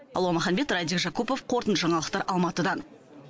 алуа маханбет радик жакупов қорытынды жаңалықтар алматыдан